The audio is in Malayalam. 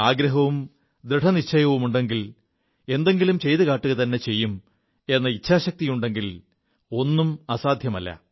ആഗ്രഹവും ദൃഢനിശ്ചയവുമുണ്ടെങ്കിൽ എന്തെങ്കിലും ചെയ്തു കാുകത െചെയ്യും എ ഇഛാശക്തിയുണ്ടെങ്കിൽ ഒും അസാധ്യമല്ല